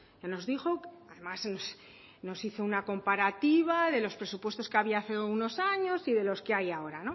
nos dijo además nos hizo una comparativa de los presupuestos que había hace unos años y de los que hay ahora